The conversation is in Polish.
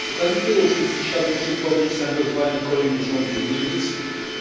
Przy okazji tej rocznicy chciałbym przypomnieć zaangażowanie kolejnych rządów Niemiec